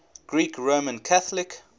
greek roman catholic